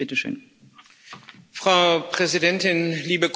Frau Präsidentin, liebe Kolleginnen und Kollegen!